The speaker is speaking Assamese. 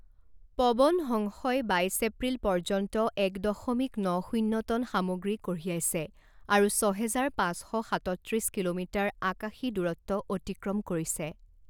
পৱন হংসই বাইছ এপ্ৰিল পৰ্যন্ত এক দশমিক ন শূণ্য টন সামগ্ৰী কঢ়িয়াইছে আৰু ছহেজাৰ পাঁচ শ সাতত্ৰিছ কিলোমিটাৰ আকাশী দূৰত্ব অতিক্ৰম কৰিছে।